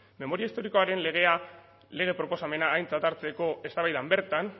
memoria historikoaren lege proposamena aintzat hartzeko eztabaidan bertan